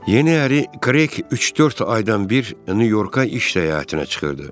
Yeni əri Kreyq üç-dörd aydan bir Nyu-Yorka iş səyahətinə çıxırdı.